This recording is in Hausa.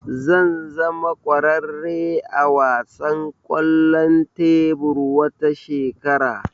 Zan zama kwararre a wasan kwallon tebur wata shekara